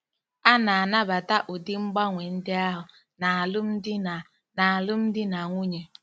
A na-anabata ụdị mgbanwe ndị ahụ n'alụmdi na n'alụmdi na nwunye.